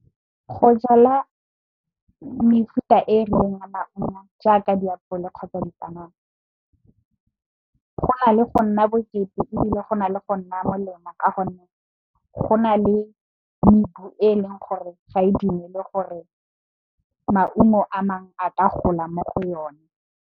Go jala mefuta e e rileng a maungo jaaka diapole kgotsa dipanana go ya le go nna bokete ebile, go na le go nna molemo ka gonne, go na le mebu e leng gore ga e dumele gore maungo a mangwe a ka gola mo go yone.